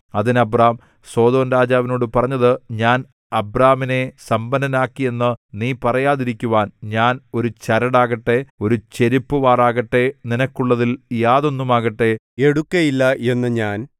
അതിന് അബ്രാം സൊദോംരാജാവിനോട് പറഞ്ഞത് ഞാൻ അബ്രാമിനെ സമ്പന്നനാക്കിയെന്ന് നീ പറയാതിരിക്കുവാൻ ഞാൻ ഒരു ചരടാകട്ടെ ഒരു ചെരിപ്പുവാറാകട്ടെ നിനക്കുള്ളതിൽ യാതൊന്നുമാകട്ടെ എടുക്കുകയില്ല എന്നു ഞാൻ